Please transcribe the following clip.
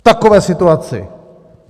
V takové situaci!